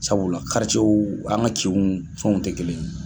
Sabula an ga kinw fɛnw tɛ kelen ye